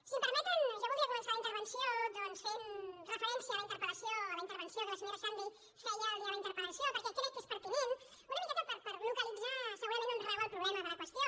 si em permeten jo voldria començar la intervenció doncs fent referència a la interpel·lació a la intervenció que la senyora xandri feia el dia de la interpellació perquè crec que és pertinent una miqueta per localitzar segurament on rau el problema de la qüestió